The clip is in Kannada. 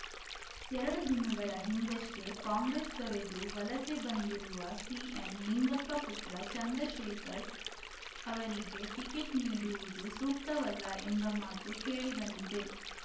ಎರಡು ದಿನಗಳ ಹಿಂದಷ್ಟೇ ಕಾಂಗ್ರೆಸ್‌ ತೊರೆದು ವಲಸೆ ಬಂದಿರುವ ಸಿಎಂ ಲಿಂಗಪ್ಪ ಪುತ್ರ ಚಂದ್ರಶೇಖರ್‌ ಅವರಿಗೆ ಟಿಕೆಟ್‌ ನೀಡುವುದು ಸೂಕ್ತವಲ್ಲ ಎಂಬ ಮಾತು ಕೇಳಿಬಂದಿದೆ